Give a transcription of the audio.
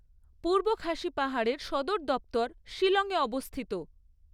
পূর্ব খাসি পাহাড়ের সদর দপ্তর শিলংয়ে অবস্থিত।